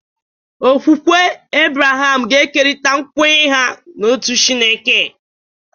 Okwukwe Abraham ga-ekerịta nkwenye ha n'otu Chineke.